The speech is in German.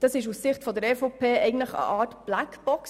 Das ist aus Sicht der BVE eine Art Blackbox.